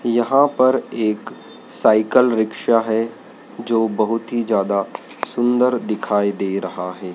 यहां पर एक साइकिल रिक्शा है जो बहुत ही ज्यादा सुंदर दिखाई दे रहा है।